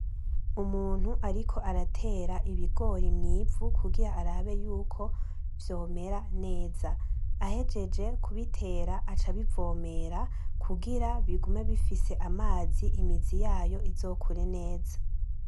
Umuntu ariko aratera ibigori mw'ivu kuvira arabe ko vyomera neza. Ahejeje kubitera aca abivomera kugira bigume bifise amazi, imizi yayo izokure neza.